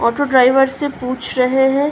Auto driver से पूछ रहे हैं।